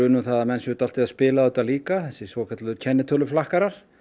um að menn séu dálítið að spila á þetta líka þessir svokölluðu kennitöluflakkarar